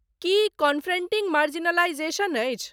की confronting marginalisation अछि?